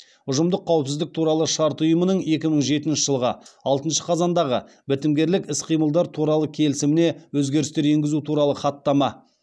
ұжымдық қауіпсіздік туралы шарт ұйымының екі мың жетінші жылғы алтыншы қазандағы бітімгерлік іс қимылдар туралы келісіміне өзгерістер енгізу туралы хаттама